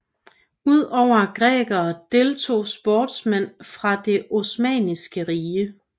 Ud over grækere deltog sportsmænd fra det Osmanniske Rige